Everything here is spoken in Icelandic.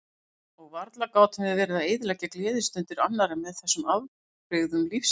Og varla gátum við verið að eyðileggja gleðistundir annarra með þessum afbrigðum lífsins.